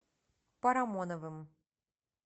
парамоновым